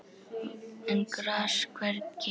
en gras hvergi